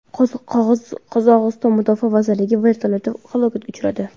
Qozog‘iston mudofaa vazirligi vertolyoti halokatga uchradi.